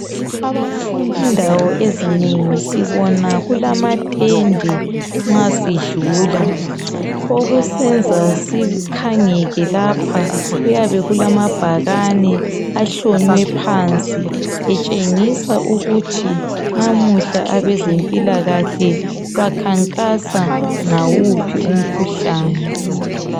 Indawo ezinengi sibona kulamatende nxa sidlula okusenza sikhangeke lapha kuyabe kulamabhakane ahlonywe phansi etshengisa ukuthi namuhla abazempilakahle bakhankasa ngawuphi umkhuhlane.